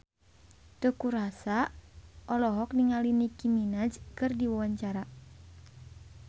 Teuku Rassya olohok ningali Nicky Minaj keur diwawancara